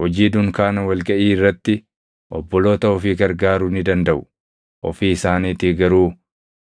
Hojii dunkaana wal gaʼii irratti obboloota ofii gargaaruu ni dandaʼu; ofii isaaniitii garuu